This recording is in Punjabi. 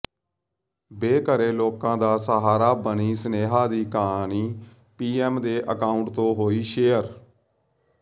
ਬੇਘਰੇ ਲੋਕਾਂ ਦਾ ਸਹਾਰਾ ਬਣੀ ਸਨੇਹਾ ਦੀ ਕਹਾਣੀ ਪੀਐਮ ਦੇ ਅਕਾਊਂਟ ਤੋਂ ਹੋਈ ਸ਼ੇਅਰ